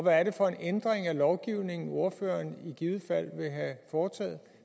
er det for en ændring af lovgivningen ordføreren i givet fald vil have foretaget